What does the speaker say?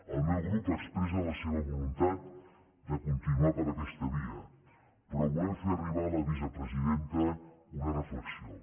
el meu grup expressa la seva voluntat de continuar per aquesta via però volem fer arribar a la vicepresidenta una reflexió